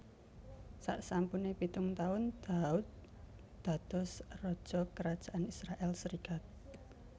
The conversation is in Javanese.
Saksampune pitung taun Daud dados raja Kerajaan Israèl serikat